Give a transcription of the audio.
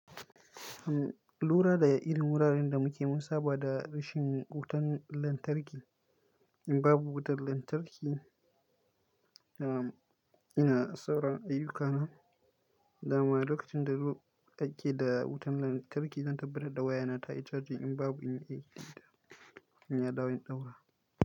Lura da irin wuraren da muke, mun saba da rashin wutan lantarki. In babu wutan lantarki, ina sauran ayyukana. Dama lokacin da ake da wutan lantarki zan tabbata da waya na ta yi chargy. In babu in yi ita, in ya dawo in ɗaura.